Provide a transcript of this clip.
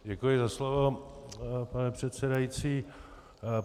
Děkuji za slovo, pane předsedající.